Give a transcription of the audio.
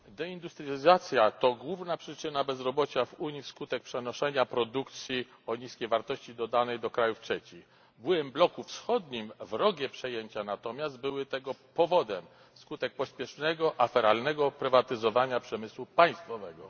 Deindustrializacja to główna przyczyna bezrobocia w Unii wskutek przenoszenia produkcji o niskiej wartości dodanej do państw trzecich. W byłym bloku wschodnim wrogie przejęcia natomiast były tego powodem w wyniku pospiesznego, aferalnego prywatyzowania przemysłu państwowego.